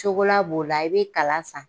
Cokola b'o o la i bɛ kala san.